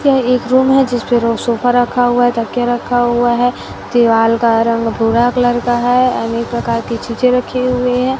यह एक रूम है जिसमें रो सोफा रखा हुआ है तकिया रखा हुआ है दीवाल का रंग भूरा कलर का है अनेक प्रकार की चीजें रखी हुईं हैं।